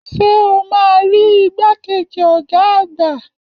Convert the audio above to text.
Ṣé o máa rí igbàkejì ọ̀gá àgbà?